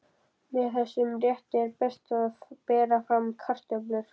Með þessum rétti er best að bera fram kartöflur.